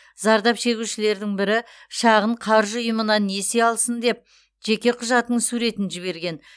зардап шегушілердің бірі шағын қаржы ұйымынан несие алсын деп жеке құжатының суретін жіберген